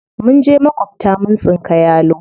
Mun je maƙwabta mun tsinka yalo.